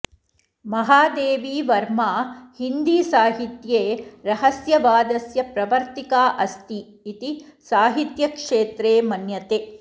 महादेवी वर्मा हिन्दीसाहित्ये रहस्यवादस्य प्रवर्तिका अस्ति इति साहित्यक्षेत्रे मन्यते